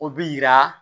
O bi yira